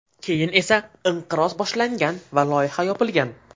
Keyin esa inqiroz boshlangan va loyiha yopilgan.